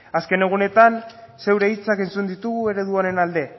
azken egunetan zure hitzak entzun ditugu eredu honen alde